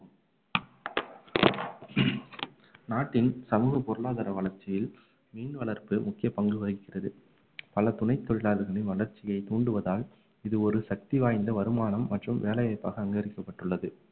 நாட்டின் சமூக பொருளாதார வளர்ச்சியில் மீன் வளர்ப்பு முக்கிய பங்கு வகிக்கிறது பல துணைத் தொழிலாளர்களின் வளர்ச்சியை தூண்டுவதால் இது ஒரு சக்தி வாய்ந்த வருமானம் மற்றும் வேலை வாய்ப்பாக அங்கீகரிக்கப்பட்டுள்ளது